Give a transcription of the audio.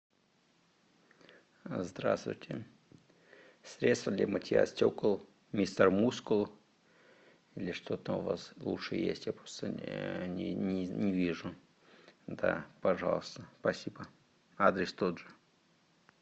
здравствуйте средство для мытья стекол мистер мускул или что там у вас лучше есть я просто не вижу да пожалуйста спасибо адрес тот же